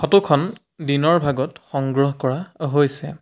Photo খন দিনৰ ভাগত সংগ্ৰহ কৰা হৈছে।